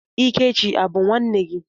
Ikechi a bụ nwanne gị?